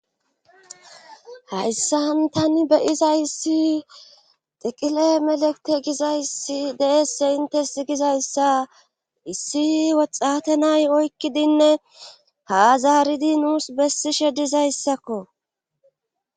hayssan tani beyizays tiqile melekte gizayssi deesse intes gizayssa issi woxxate nay oykkidinne haazaaridi nuus bessishe dizayssakko